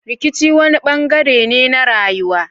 Rikici wani bangare ne na rayuwa.